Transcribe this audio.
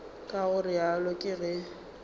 ka go realo ke ge